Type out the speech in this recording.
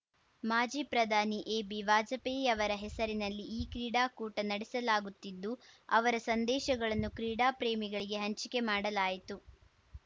ಮಾಜಿ ಪ್ರಧಾನಿ ಎಬಿ ವಾಜಪೇಯಿ ಅವರ ಹೆಸರಿನಲ್ಲಿ ಈ ಕ್ರೀಡಾಕೂಟ ನಡೆಸಲಾಗುತ್ತಿದ್ದು ಅವರ ಸಂದೇಶಗಳನ್ನು ಕ್ರೀಡಾ ಪ್ರೇಮಿಗಳಿಗೆ ಹಂಚಿಕೆ ಮಾಡಲಾಯಿತು